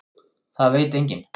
Það veit enginn.